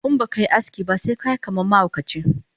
Inbakai aski ba sekayi kaman mahaukaci